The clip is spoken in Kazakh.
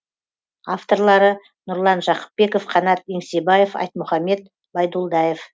авторлары нұрлан жақыпбеков қанат еңсебаев айтмұхамед байдулдаев